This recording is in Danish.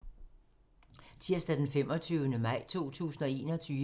Tirsdag d. 25. maj 2021